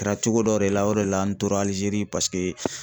Kɛra cogo dɔ de la, o de la, an tora Alizeri